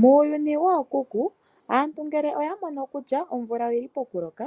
Muuyuni wookuku aantu ngele oyamono kutya omvula oyi li pokuloka